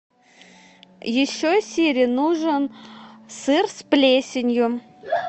еще сири нужен сыр с плесенью